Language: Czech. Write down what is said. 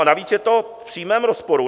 A navíc je to v přímém rozporu.